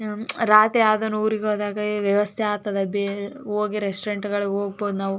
ಹ್ಮ್ ರಾತ್ರಿ ಯಾವದನ ಉರಿಗ ಹೋದಾಗ ಈ ವ್ಯವಸ್ಥೆ ಆಗ್ತದೆ ಬೇ ಹೋಗಿ ರೆಸ್ಟೋರೆಂಟ್ ಗಳಿಗೆ ಹೋಗಬೋದು ನಾವು.